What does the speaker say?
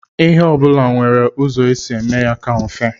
Ihe ọbụla nwere ụzọ e si eme ya o ka mfe.